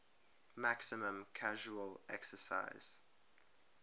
maximum casual excise